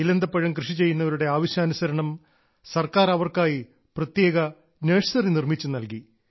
ഇലന്തപ്പഴം കൃഷി ചെയ്യുന്നവരുടെ ആവശ്യാനുസരണം സർക്കാർ അവർക്കായി പ്രത്യേക നഴ്സറി നിർമ്മിച്ചു നൽകി